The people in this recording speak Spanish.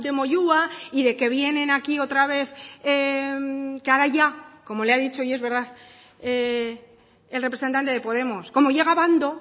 moyua y de que vienen aquí otra vez que ahora ya como le ha dicho y es verdad el representante de podemos como llega a abando